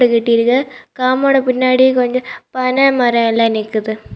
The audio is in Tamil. கெட்டிற்கு காம்பவுண்டுக்கு பின்னாடி கொன்ஜோ பணமரோல நிக்குது.